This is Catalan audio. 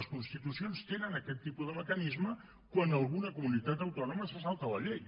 les constitucions tenen aquest tipus de mecanisme quan alguna comunitat autònoma se salta la llei